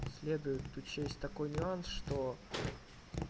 следует учесть такой нюанс что